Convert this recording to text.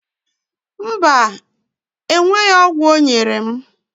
Mba, enweghị ọgwụ ọ nyere m